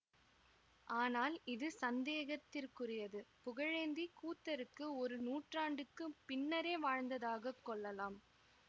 ஆனால் இது சந்தேகத்திற்குரியது புகழேந்தி கூத்தருக்கு ஒரு நூற்றாண்டுக்கு பின்னரே வாழ்ந்ததாகக் கொள்ளலாம்